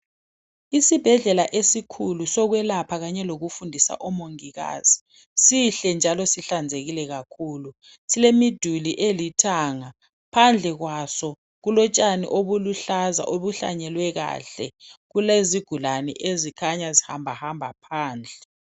Isibhedlela esikhulu sokwelapha kanye lokufundisa omongikazi sihle njalo sihlanzekile kakhulu. Silemiduli elithanga .Phandle kwaso kulotshani obuluhlaza obuhlanyelwe kahle Kulezigulane ezikhanya zihambahamba phandle